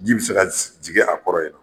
Ji bɛ se ka jigi a kɔrɔ ye nɔ.